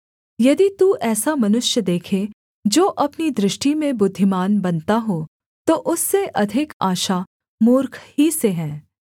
यदि तू ऐसा मनुष्य देखे जो अपनी दृष्टि में बुद्धिमान बनता हो तो उससे अधिक आशा मूर्ख ही से है